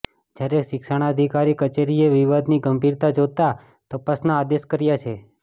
જ્યારે શિક્ષણાધિકારી કચેરીએ વિવાદની ગંભીરતા જોતાં તપાસના આદેશ કર્યા છે